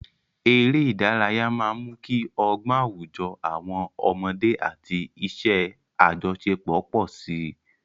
Eré ìdárayá máa ń mú kí ọgbọ́n àwùjọ àwọn ọmọdé àti iṣẹ́ àjọṣepọ̀ pọ̀ sí i.